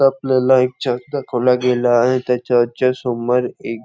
आपल्याला एक चर्च दाखावला गेला आहे त्या चर्च च्या समोर एक--